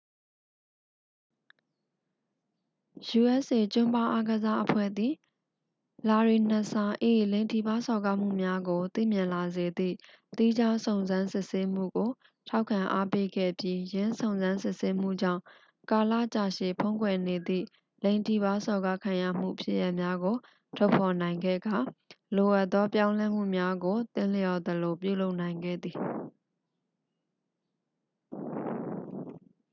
usa ကျွမ်းဘားအားကစားအဖွဲ့သည် လာရီနက်စ်စာ ၏ လိင်ထိပါးစော်ကားမှုများကို သိမြင်လာစေသည့် သီးခြားစုံစမ်းစစ်ဆေးမှုကို ထောက်ခံအားပေးခဲ့ပြီး ယင်းစုံစမ်းစစ်ဆေးမှုကြောင့် ကာလရှည်ကြာဖုံးကွယ်နေသည့် လိင်ထိပါးစော်ကားခံရမှုဖြစ်ရပ်များကို ထုတ်ဖော်နိုင်ခဲ့ကာ လိုအပ်သောပြောင်းလဲမှုများကို သင့်လျော်သလိုပြုလုပ်နိုင်ခဲ့သည်